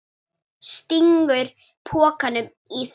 Stingur pokanum í það.